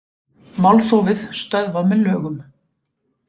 Málþófið stöðvað með lögum